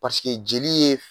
jeli ye